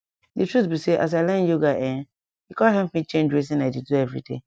di truth be say as i learn yoga[um]e com help me change wetin i dey do everyday